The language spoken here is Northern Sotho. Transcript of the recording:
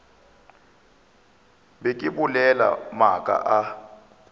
be ke bolela maaka a